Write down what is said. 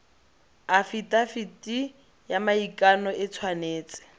afitafiti ya maikano e tshwanetse